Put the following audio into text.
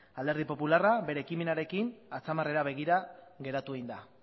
alderdi popularra bere ekimenarekin atzamarrera begira geratu egin da